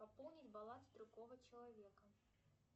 пополнить баланс другого человека